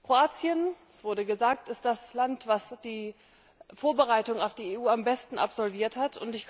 Kroatien das wurde gesagt ist das Land, das die Vorbereitung auf die EU am besten absolviert hat.